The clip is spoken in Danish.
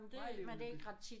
Meget levende by